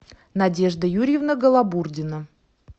надежда юрьевна голобурдина